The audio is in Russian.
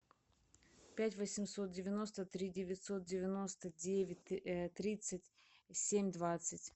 пять восемьсот девяносто три девятьсот девяносто девять тридцать семь двадцать